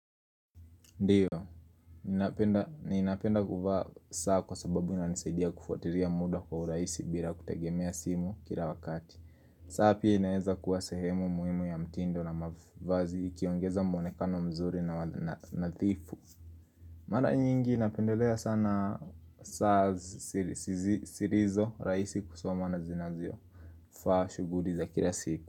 Ndio, ninapenda kuvaa saa kwa sababu inanisaidia kufuatilia muda kwa urahisi bila kutegemea simu kila wakati saa pia inaeza kuwa sehemu muhimu ya mtindo na mavazi ikiongeza mwonekano mzuri na nadhifu Mara nyingi napendelea sana saa zilizo rahisi kusomaona zinazo faa shughuli za kila siku.